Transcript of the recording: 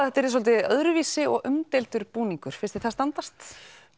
þetta yrði svolítið öðruvísi og umdeildur búningur finnst þér það standast